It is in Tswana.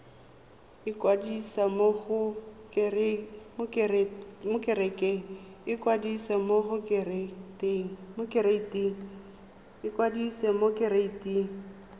ikwadisa mo go kereite r